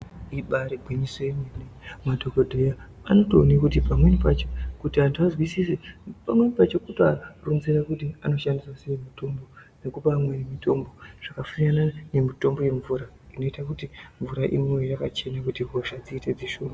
Ibari gwinyiso yemene. Madhokodheya anotoone kuti pamweni pacho kuti antu azwisise pamweni pacho kutoaronzera kuti anoshandisa sei mutombo nekupa amweni mitombo zvakasiyana nemitombo yemumvura inoita kuti mvura imwiwe yakachena zvinoita kuti hosha dziite dzishoma.